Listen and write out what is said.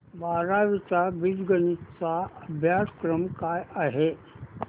बारावी चा बीजगणिता चा अभ्यासक्रम काय आहे